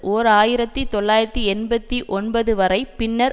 ஓர் ஆயிரத்தி தொள்ளாயிரத்தி எண்பத்தி ஒன்பது வரை பின்னர்